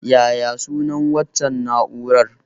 Yaya sunan waccan na'urar?